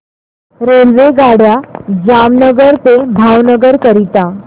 रेल्वेगाड्या जामनगर ते भावनगर करीता